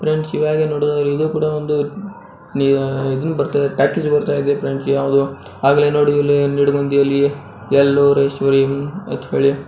Friends ಇದು ನಾವು ನೋಡುವುದಾದರೆ ಇದೊಂದು ದೊಡ್ಡ ಟಾಕೀಸ್ ಆಗಿದೆ ಎಲ್ಲೋ ಮತ್ತೆ ಬ್ಲೂ ಕಲರ್ ಸೀಟ್ ಗಳಿಂದ ಮಾಡಿದೆ.